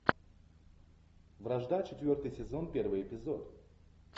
вражда четвертый сезон первый эпизод